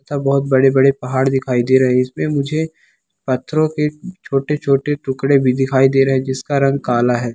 अ बहुत बड़े-बड़े पहाड़ दिखाई दे रहे हैं इसमें मुझें पत्थरों के छोटे-छोटे टुकड़े भी दिखाई दे रहें हैं जिसका रंग काला है।